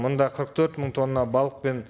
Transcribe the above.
мұнда қырық төрт мың тонна балық пен